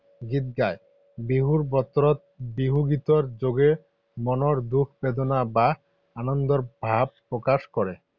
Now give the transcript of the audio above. গীত গায়। বিহুৰ বতৰত বিহু গীতৰ যোগেৰে মনৰ দুখ বেদনা বা আনন্দৰ ভাৱ প্ৰকাশ কৰে।